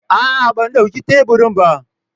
A'a, ban ɗauki teburin ba.